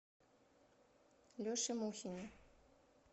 леше мухине